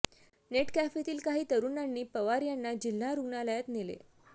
net कॅफेतील काही तरुणांनी पवार यांना जिल्हा रुग्णालयात नेले